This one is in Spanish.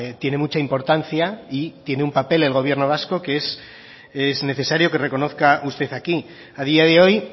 tiene mucha importancia y tiene un papel el gobierno vasco que es necesario que reconozca usted aquí a día de hoy